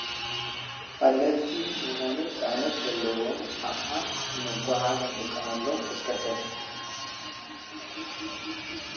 ቀለልቲ ዝኮኑ ፅዕነት ዘለዎም ኣቅሓ ንምጉዕዓዝ እንጥቀመሎም ተሽከርከርቲ